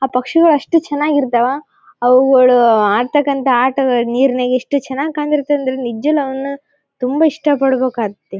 ಆ ಪಕ್ಷಿಗಳು ಅಷ್ಟು ಚೆನ್ನಾಗಿ ಇರ್ತ್ತವ ಅವುಗಳು ಆಡತಾಕಾಂತ ಆಟಗಳು ನೀರ್ ನಾಗ್ ಎಷ್ಟು ಚೆನ್ನಾಗ್ ಕಣ್ ತಿರುತ್ತೆ ಅಂದ್ರೆ ನಿಜ್ವಾಗ್ಲೂ ಅವನ್ನ ತುಂಬಾ ಇಷ್ಟ ಪಡ್ಬೇಕ್ ಆಗ್ತತ್ತೆ.